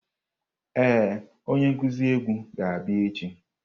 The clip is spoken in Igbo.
Ee, onye nkuzi egwu ga-abịa echi.